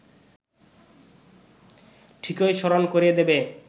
ঠিকই স্মরণ করিয়ে দেবে